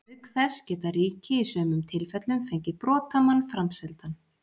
Auk þess geta ríki í sumum tilfellum fengið brotamann framseldan.